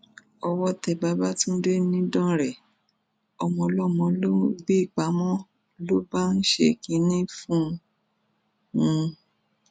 owó tẹ babafúndé nìdánrẹ ọmọọlọmọ ló gbé pamọ ló bá ń ṣe kínní fún un